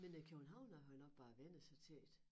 Men æ københavnere har jo nok bare vænnet sig til det